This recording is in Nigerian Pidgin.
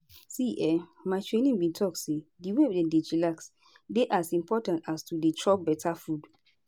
see[um]my trainer bin talk say di way dem dey chillax dey as important as to dey chop beta food.